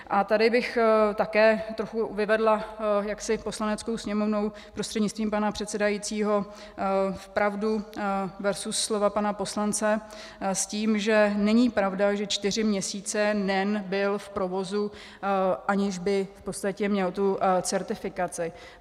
A tady bych také trochu vyvedla jaksi Poslaneckou sněmovnou prostřednictvím pana předsedajícího v pravdu versus slova pana poslance s tím, že není pravda, že čtyři měsíce NEN byl v provozu, aniž by v podstatě měl tu certifikaci.